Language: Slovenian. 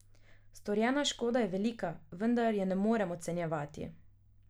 Storjena škoda je velika, vendar je ne morem ocenjevati.